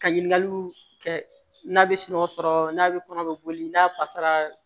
Ka ɲininkaliw kɛ n'a bɛ sunɔgɔ sɔrɔ n'a bɛ kɔnɔ bɛ boli n'a fasara